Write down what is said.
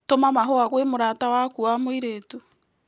Tũma mahũa gwĩ mũrata wakũ wa mũĩrĩtu